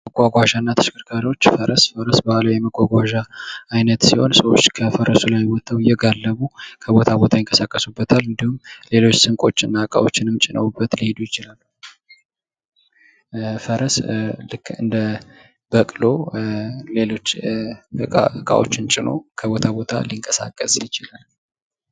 መጓጓዣ እና ተሽከርካሪዎች ፈረስ የባህላዊ መጓጓዣ አይነት ሲሆን ሰዎች ከፈረሱ ላይ ወጠዉ እየጋለቡ ከቦታ ቦታ ይንቀሳቀሱበታል። እንዲሁም ሌሎች ስንቆችን እና እቃዎችንም ጭነዉቀት ሊሄዱ ይችላሉ። ፈረስ ልክ እንደ በቅሎ ሌሎች እቃዎችን ጭኖ ከቦታ ቦታ ሊቀሳቀስ ይችላል።